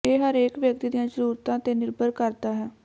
ਇਹ ਹਰੇਕ ਵਿਅਕਤੀ ਦੀਆਂ ਜ਼ਰੂਰਤਾਂ ਤੇ ਨਿਰਭਰ ਕਰਦਾ ਹੈ